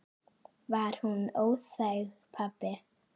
Var hún óþæg, pabbi?